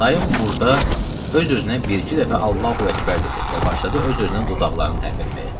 Dayım burda öz-özünə bir-iki dəfə Allahu Əkbər dedi və başladı öz-özünə dodaqlarını tərpətməyə.